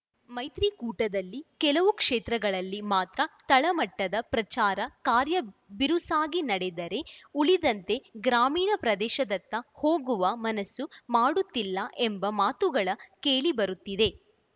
ಮೈತ್ರಿಕೂಟದಲ್ಲಿ ಕೆಲವು ಕ್ಷೇತ್ರಗಳಲ್ಲಿ ಮಾತ್ರ ತಳಮಟ್ಟದ ಪ್ರಚಾರ ಕಾರ್ಯ ಬಿರುಸಾಗಿ ನಡೆದರೆ ಉಳಿದಂತೆ ಗ್ರಾಮೀಣ ಪ್ರದೇಶದತ್ತ ಹೋಗುವ ಮನಸ್ಸು ಮಾಡುತ್ತಿಲ್ಲ ಎಂಬ ಮಾತುಗಳ ಕೇಳಿ ಬರುತ್ತಿದೆ